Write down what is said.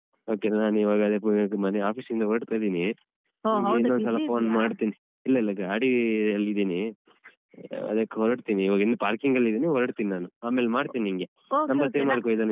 Okay ನಾ ನಾನೀವಾಗ ಅದೇ office ಇಂದ ಹೊರಡ್ತಾ ಇದ್ದೀನಿ ಇಲ್ಲ ಇಲ್ಲ ಗಾಡಿಯಲ್ಲಿದ್ದೀನಿ ಅದಕ್ಕ್ ಹೊರಡ್ತೀನಿ ಇವಾಗ ಇನ್ನೂ parking ಅಲ್ಲಿದ್ದೀನಿ ಹೊರಡ್ತೀನಿ ನಾನು ಆಮೇಲ್ ಮಾಡ್ತೀನ್ನಿನ್ಗೆ